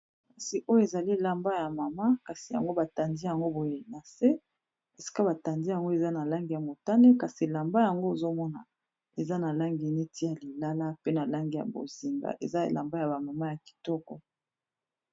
kasi oyo ezali elamba ya mama kasi yango batandi yango boye na se esika batandi yango eza na langi ya motane kasi elamba yango ezomona eza na langi neti ya lilala pe na langi ya bozinga eza elamba ya bamama ya kitoko